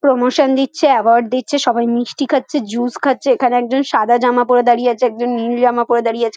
Promotion দিচ্ছে award দিচ্ছে সবাই মিষ্টি খাচ্ছে জুস খাচ্ছে এখানে একজন সাদা জামা পরে দাঁড়িয়ে আছে একজন নীল জামা পরে দাঁড়িয়ে আছে।